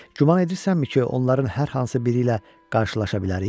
Güman edirsənmi ki, onların hər hansı biri ilə qarşılaşa bilərik?